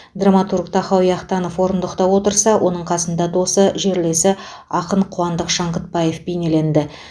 драматург тахауи ахтанов орындықта отырса оның қасында досы жерлесі ақын қуандық шаңғытбаев бейнеленді